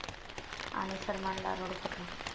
...आणि सलमानला रडू फुटलं!